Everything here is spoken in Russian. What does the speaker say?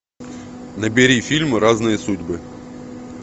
набери фильм разные судьбы